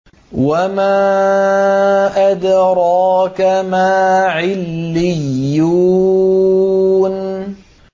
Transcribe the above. وَمَا أَدْرَاكَ مَا عِلِّيُّونَ